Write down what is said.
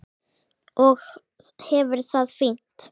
Og hefur það fínt.